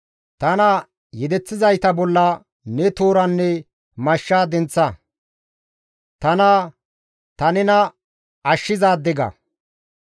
Tana yedeththizayta bollan ne tooranne mashsha denththa. Tana, «Ta nena ashshizaade» ga.